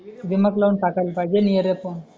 दिमाग लावून टाकायला पाहिजे आणि एरिया पाहून